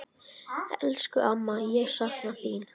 Elsku amma, ég sakna þín.